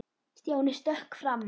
Stjáni stökk fram.